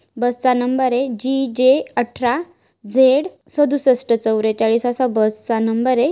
बस चा number AGJ अठरा Z सदृशष्ट चौरेचाळीस असा बस चा नंबरय .